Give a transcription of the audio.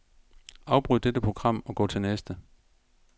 Afbryd dette program og gå til næste.